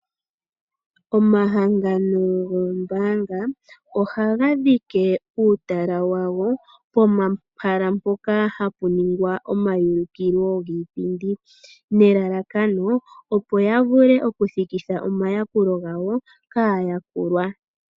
Omahangano goombaanga, oha ga dhike uutala wadho pomahala mpoka ha pu ningilwa omaulikilo giipindi, nelalakano opo ya vule okuthikitha omayakulo gawo kaayakulwa.